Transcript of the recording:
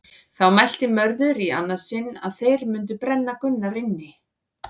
Þá mælti Mörður í annað sinn að þeir mundu brenna Gunnar inni.